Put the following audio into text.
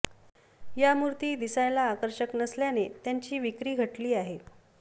या मूर्ती दिसायला आकर्षक नसल्याने त्यांची विक्री घटली आहे